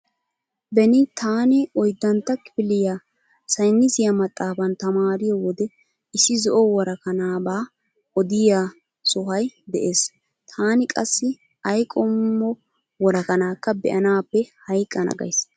Beni taani oyddantta kifiliya saynisiya maxaafan tamaariyo wode issi zo'o worakanaaba odiya sohay de'ees. Taani qassi ay qommo worakanaakka be'naappe hayqqana gays.